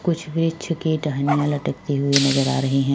कुछ वृक्ष की टहनियाँ लटकती हुई नज़र आ रहीं हैं।